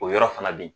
O yɔrɔ fana bɛ yen